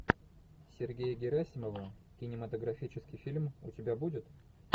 сергея герасимова кинематографический фильм у тебя будет